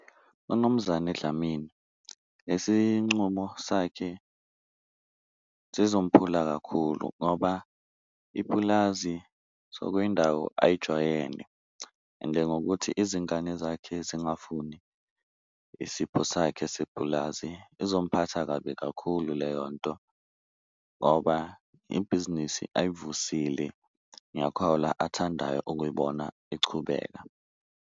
Unumzane Dlamini lesi ncumo sakhe zizongiphula kakhulu ngoba ipulazi sokuyindawo ayijwayele, ende ngokuthi izingane zakhe zingafuni isipho sakhe sepulazi izomphatha kabi kakhulu leyo nto, ngoba ibhizinisi ayivusile ngiyakhola athandayo ukuyibona ichubeka.